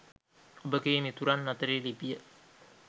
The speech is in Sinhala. ඔබගේ මිතුරන් අතරේ ලිපිය